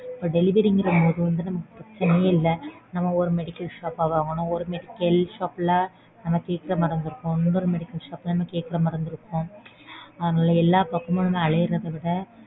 Delivery ங்கறபோது நமக்கு பிரச்சனையே இல்ல. நம்ம ஒரு medical shop ஆ வாங்கணும். ஒரு medical shop ல நம்ம கேக்கிற மருந்து இருக்கும். இன்னொரு medical shop ல நம்ம கேக்கிற மருந்து இருக்கும். அதனால எல்லா பக்கமும் நம்ம அலையறத விட.